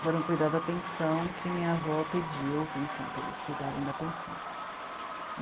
Foram cuidar da pensão que minha avó pediu, enfim, para eles cuidarem da pensão.